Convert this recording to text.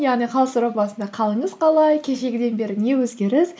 яғни хал сұрау басында қалыңыз қалай кешегіден бері не өзгеріс